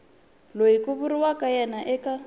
loyi ku vuriwaka yena eka